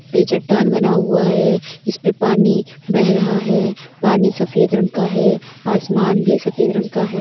पे चट्टान बना हुआ है जिस पे पानी बह रहा है पानी सफ़ेद रंग का है आसमान भी सफेद रंग का है।